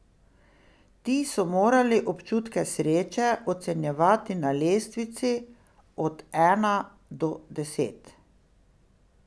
Ti so morali občutke sreče ocenjevati na lestvici od ena do deset.